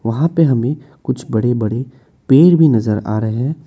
वहां पर हमें कुछ बड़े बड़े पेड़ भी नजर आ रहे हैं।